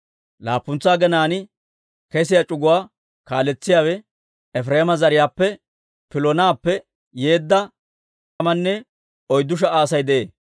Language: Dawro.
Laappuntsa aginaan kesiyaa c'uguwaa kaaletsiyaawe Efireema zariyaappe Piloonappe yeedda Helees'a; Aa c'uguwaan laatamanne oyddu sha"a Asay de'ee.